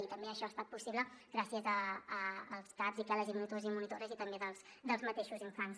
i també això ha estat possible gràcies als caps i quel·les i monitors i monitores i també dels mateixos infants